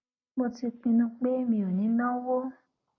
mo ti pinnu pé mi ò ní náwó